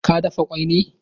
Ka dafa kwai ne?